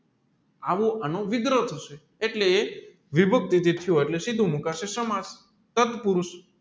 આવો એનો વિગ્રહ થશે એટલે વિભક્તિ એટલે સીધું મુકાશે સમર્થ સાઠપુરુષ